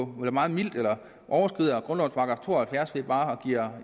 meget mildt på eller overskrider grundlovens § to og halvfjerds ved bare at give